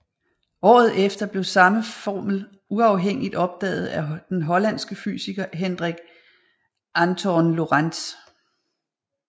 Året efter blev samme formel uafhængigt opdaget af den hollandske fysiker Hendrik Antoon Lorentz